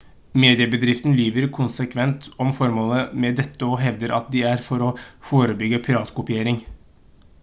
mediebedriftene lyver konsekvent om formålet med dette og hevder at det er for å «forebygge piratkopiering»